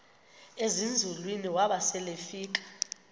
ezinzulwini waba selefika